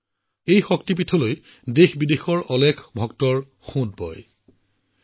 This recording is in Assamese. এইটো এটা গুৰুত্বপূৰ্ণ শক্তিপীঠ যত ভাৰত আৰু বিদেশৰ পৰা বৃহৎ সংখ্যক ভক্তই মা অম্বাৰ দৰ্শন কৰিবলৈ আহে